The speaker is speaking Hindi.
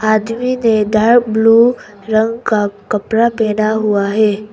ब्लू रंग का कपड़ा पहना हुआ है।